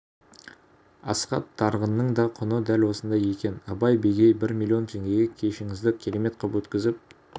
асхат тарғынның да құны дәл осындай екен абай бегей бір миллион теңгеге кешіңізді керемет қып өткізіп